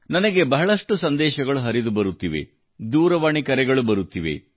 ನನಗೆ ಬಹಳಷ್ಟು ಸಂದೇಶಗಳು ಹರಿದುಬರುತ್ತಿವೆ ದೂರವಾಣಿ ಕರೆಗಳು ಬರುತ್ತಿವೆ